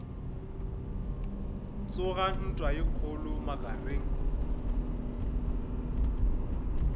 tsoga ntwa ye kgolo magareng